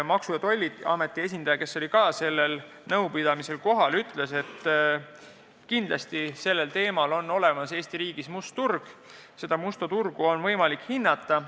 Maksu- ja Tolliameti esindaja, kes oli ka sellel nõupidamisel kohal, ütles, et kindlasti on olemas Eesti riigis nende toodete must turg ja seda musta turgu on võimalik hinnata.